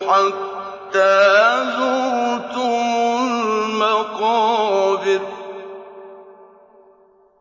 حَتَّىٰ زُرْتُمُ الْمَقَابِرَ